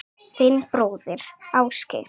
Þinn bróðir, Ásgeir.